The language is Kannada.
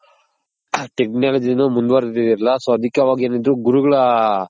Technology ನು ಮುಂದ್ ವರ್ದಿರ್ಲಿಲ್ಲ so ಅದಕ್ಕೆ ಅವಗೆನಿದ್ರು ಗುರುಗಳ